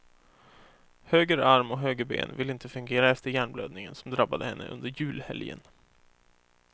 Höger arm och höger ben vill inte fungera efter hjärnblödningen som drabbade henne under julhelgen.